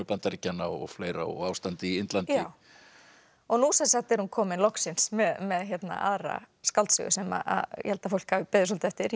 Bandaríkjanna og fleira og ástandið í Indlandi já nú sem sagt er hún komin loksins með aðra skáldsögu sem ég held að fólk hafi beðið svolítið eftir